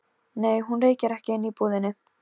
Nei, hún reykir ekki inni í búðinni.